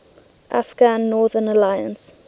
afghan northern alliance